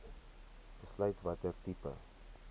besluit watter tipe